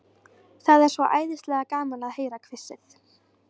Það er svo æðislega gaman að heyra hvissið.